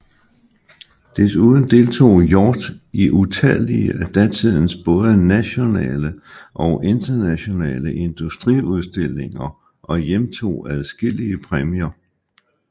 Desuden deltog Hjort i utallige af datidens både nationale og internationale industriudstillinger og hjemtog adskillige præmier